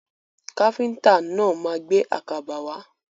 Káfíntà náà ma gbé àkàbà wá.